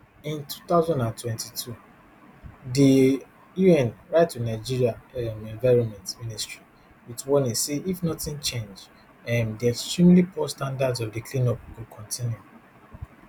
in two thousand and twenty-two di un write to nigeria um environment ministry wit warning say if nothing change um di extremely poor standards of di cleanup go kontinu